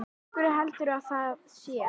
Af hverju heldurðu að það sé?